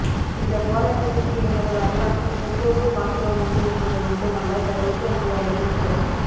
இந்தப் போராட்டத்திற்கு எமது வரலாற்றில் முற்போக்குப் பாத்திரம் உண்டு என்பது மட்டுமல்ல தவிர்க்க முடியாததும் கூட